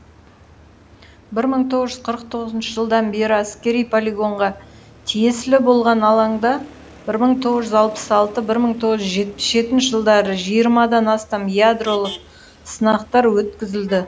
бір мың тоғыз жүз қырық тоғызыншы жылдан бері әскери полигонға тиесілі болған алаңда бір мың тоғыз жүз алпыс алты бір мың тоғыз жүз жетпіс жетінші жылдары жиырмадан астам ядролық сынақтар өткізілді